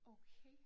Okay